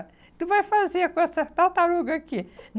tu vai fazer com essa tartaruga aqui?